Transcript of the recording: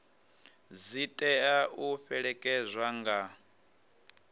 dzi tea u fhelekedzwa nga